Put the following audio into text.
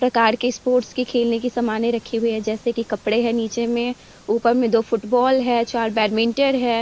प्रकार के स्पोर्ट्स के खेलने की समाने रखी हुई हैं जैसे की कपडे है नीचे में ऊपर में फुटबॉल है चार बैडमिंटन है।